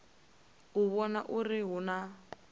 u vhona uri hu na